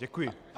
Děkuji.